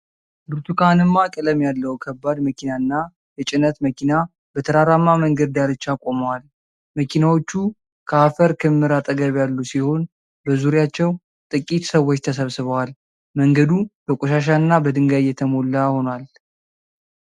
ብርቱካንማ ቀለም ያለው ከባድ መኪናና የጭነት መኪና በተራራማ መንገድ ዳርቻ ቆመዋል። መኪናዎቹ ከአፈር ክምር አጠገብ ያሉ ሲሆን በዙሪያቸው ጥቂት ሰዎች ተሰብስበዋል። መንገዱ በቆሻሻና በድንጋይ የተሞላ ሆኖ አለ።